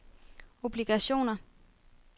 obligationer